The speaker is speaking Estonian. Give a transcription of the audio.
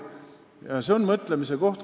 Ja see on mõtlemise koht.